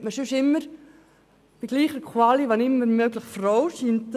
Sonst sagt man immer, bei gleicher Qualifikation, sollte es möglichst eine Frau sein.